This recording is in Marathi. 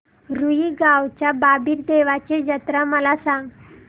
रुई गावच्या बाबीर देवाची जत्रा मला सांग